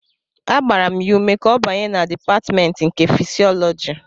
Agbara m ya ume ka ọ banye na Dipatmentị nke Fịsịọlọji